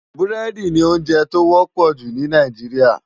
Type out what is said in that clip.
Búrèdi ni óonjè tó wòpò jú ni Náijiriá